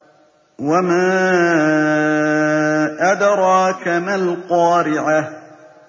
وَمَا أَدْرَاكَ مَا الْقَارِعَةُ